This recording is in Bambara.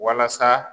Walasa